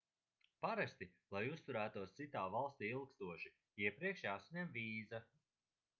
parasti lai uzturētos citā valstī ilgstoši iepriekš jāsaņem vīza